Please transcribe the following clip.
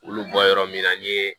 Olu bɔ yɔrɔ min na n ye